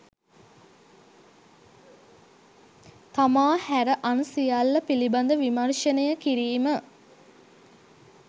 තමා හැර අන් සියල්ල පිළිබඳ විමර්ශනය කිරීම.